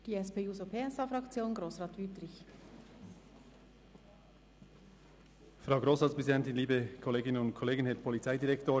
Für die SP-JUSO-PSA-Fraktion hat Grossrat Wüthrich das Wort.